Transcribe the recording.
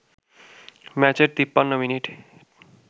ম্যাচের ৫৩ মিনিটে